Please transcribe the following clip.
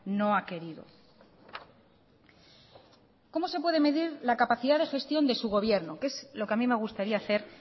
no ha querido cómo se puede medir la capacidad de gestión de su gobierno que es lo que a mí me gustaría hacer